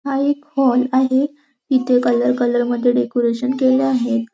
हा एक हॉल आहे इथे कलर कलर मध्ये डेकोरेशन केल आहे.